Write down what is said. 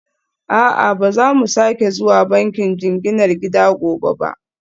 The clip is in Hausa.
A'a, ba za mu sake zuwa bankin jinginar gida gobe ba